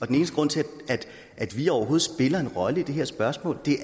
den eneste grund til at vi overhovedet spiller en rolle i det her spørgsmål